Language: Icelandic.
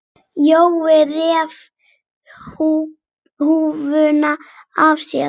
Jói reif húfuna af sér.